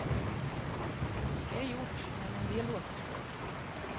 Mycket är gjort, men en del återstår.